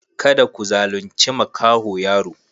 Kada ku zalunce maƙaho yaro.